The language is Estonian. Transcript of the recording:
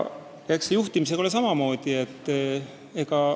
Eks juhtimisega ole samamoodi.